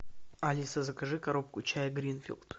алиса закажи коробку чая гринфилд